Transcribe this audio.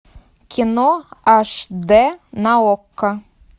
кино аш д на окко